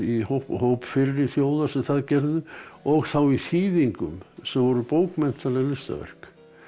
hóp hóp fyrri þjóða sem það gerðu og í þýðingum sem voru bókmenntaleg listaverk